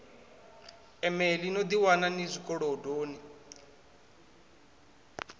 emeḽi no ḓiwana ni zwikolodoni